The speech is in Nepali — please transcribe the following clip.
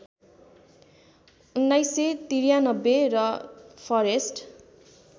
१९९३ र फरेस्ट